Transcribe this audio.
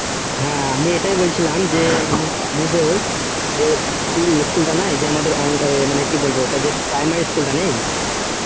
হ্যাঁ আমি এটাই বলছিলাম যে আমাদের যে school টা নাই আমাদের কি বলবো যে primary school টা নেই